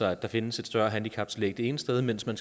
at der findes et større handicaptillæg det ene sted mens man